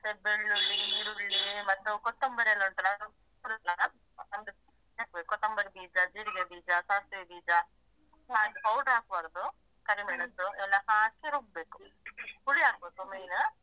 ಮತ್ತೆ ಬೆಳ್ಳುಳ್ಳಿ, ಈರುಳ್ಳಿ ಮತ್ತು ಕೊತ್ತಂಬರಿ ಎಲ್ಲ ಉಂಟಲ್ಲಾ ಅದನ್ನ ಹುರ್ಕೊ ಕೊತ್ತಂಬರಿ ಬೀಜ, ಜೀರಿಗೆ ಬೀಜ, ಸಾಸಿವೆ ಬೀಜ powder ಹಾಕ್ಬಾರ್ದು ಕರಿ ಮೆಣಸು ಎಲ್ಲ ಹಾಕಿ ರುಬ್ಬೇಕು ಹುಳಿ ಹಾಕ್ಬೇಕು main .